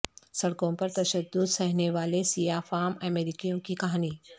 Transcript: سڑکوں پر تشدد سہنے والے سیاہ فام امریکیوں کی کہانی